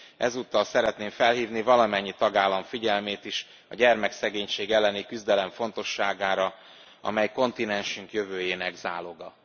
Ezúttal szeretném felhívni valamennyi tagállam figyelmét is a gyermekszegénység elleni küzdelem fontosságára, amely kontinensünk jövőjének záloga.